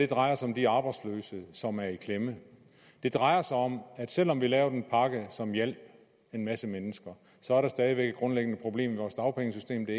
drejer sig om de arbejdsløse som er i klemme det drejer sig om at selv om vi lavede en pakke som hjalp en masse mennesker så er der stadig væk et grundlæggende problem i vores dagpengesystem det